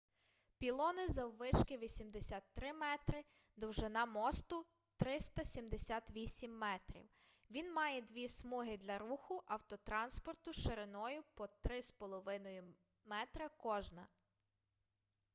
пілони заввишки 83 метри довжина мосту - 378 метрів він має дві смуги для руху автотранспорту шириною по 3,50 м кожна